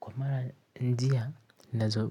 Kwa mara njia, nazo